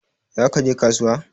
Za ka je kasuwa?